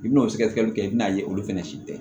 I bi n'o sɛgɛsɛgɛli kɛ i bi n'a ye olu fɛnɛ si tɛ